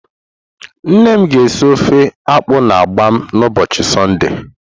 Nne m ga esi ofe akpu na mgbam n'ubochi Sunday.